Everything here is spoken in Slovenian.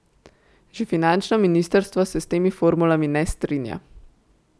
Že finančno ministrstvo se s temi formulami ne strinja.